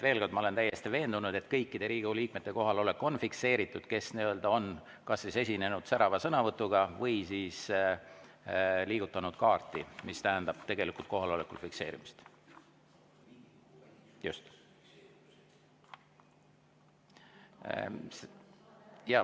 Veel kord, ma olen täiesti veendunud, et kõikide nende Riigikogu liikmete kohalolek on fikseeritud, kes on esinenud särava sõnavõtuga või liigutanud kaarti, mis tähendab tegelikult kohaloleku fikseerimist.